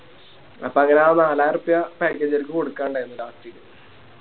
അപ്പൊ അങ്ങനെ നാളായിരൊർപ്യ Package കാർക്ക് കൊടുക്കാനിണ്ടായി Last ല്